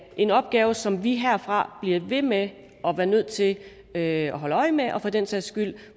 en opgave som vi herfra bliver ved med at være nødt til at at holde øje med for den sags skyld